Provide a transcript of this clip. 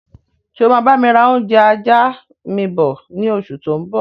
Ṣé o máa bami ra oúnjẹ ajá mi bọ̀ ni oṣù tó ń bọ̀?